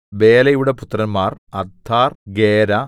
ബേലയുടെ പുത്രന്മാർ അദ്ദാർ ഗേരാ